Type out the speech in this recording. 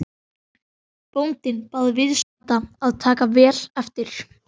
Bóndinn bað viðstadda að taka vel eftir.